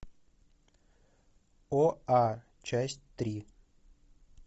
оа часть три